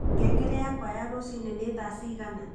ngengere yakwa ya rucĩĩni ni thaa cigana